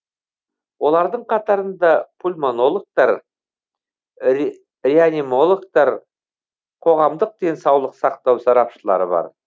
олардың қатарында пульмонологтар реаниматологтар қоғамдық денсаулық сақтау сарапшылары бар